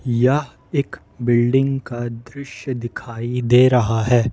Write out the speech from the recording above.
यह एक बिल्डिंग का दृश्य दिखाई दे रहा है।